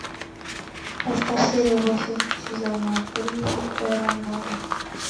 поставь серию восемь сезона три терра нова